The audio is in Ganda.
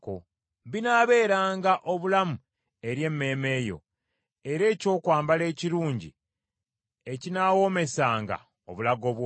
binaabeeranga obulamu eri emmeeme yo, era ekyokwambala ekirungi ekinaawoomesanga obulago bwo.